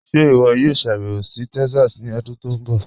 Ṣe iwọ yòò ṣàbẹwo sí Texas ni ọdún tó nbọ?